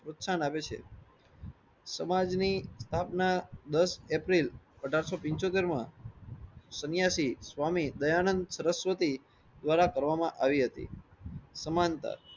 પ્રોત્સાહન આપે છે. સમાજ ની ભાવના દસ એપ્રિલ અઢારસો પીંછોતેર માં સન્યાસી સ્વામી દયાનંદ સરસ્વતી દ્વારા કરવામાં આવી હતી સમાનતા